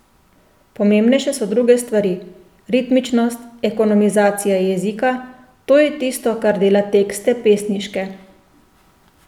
Pomembnejše so druge stvari, ritmičnost, ekonomizacija jezika, to je tisto, kar dela tekste pesniške.